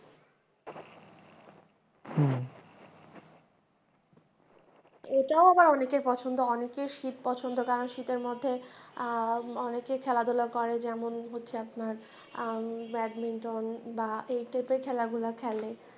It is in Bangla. এটাও আবার অনেকের পছন্দ, অনেকের শীত পছন্দ কারন শীতের মধ্যে আহ অনেকে খেলাধূলা করে যেমন হচ্ছে আপনার আহ ব্যাডমিন্টন বা এই type এর খেলা গুলা খেলে।